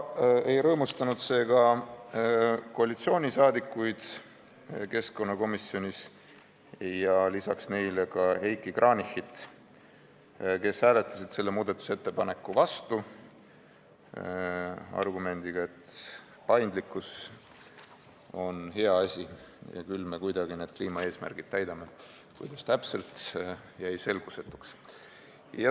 Ei rõõmustanud see koalitsiooniliikmeid keskkonnakomisjonis ega ka Heiki Kranichit, kes hääletasid selle muudatusettepaneku vastu argumendiga, et paindlikkus on hea asi ja küll me kuidagi need kliimaeesmärgid täidame – kuidas täpselt, see jäi selgusetuks.